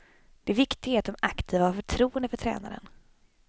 Det viktiga är att de aktiva har förtroende för tränaren.